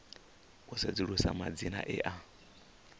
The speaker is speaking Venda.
u sedzulusa madzina e a